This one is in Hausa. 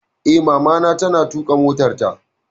Eh, Mamana ta na tuƙa motarta